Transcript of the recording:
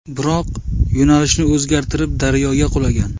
Biroq, yo‘nalishini o‘zgartirib, daryoga qulagan.